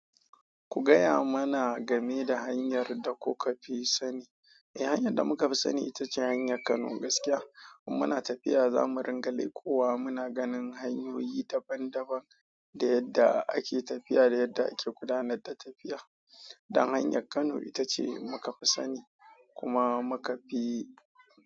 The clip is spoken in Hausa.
Ku gaya mana game da hanyar da kuka fi sani. Eh, hanyar da muka fi sani ita ce hanyar Kano gaskiya. Mu muna tafiya, za mu ringa leƙowa. Muna ganin hanyoyi daban daban da yadda ake tafiya da yadda ake gudanar da tafiya. Dan hanyar Kano ita ce muka fi sani kuma muka fi.